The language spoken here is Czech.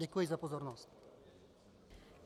Děkuji za pozornost.